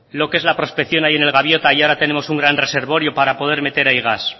lo que es la prospección ahí en el gaviota y ahora tenemos un gran reservorio para poder meter ahí gas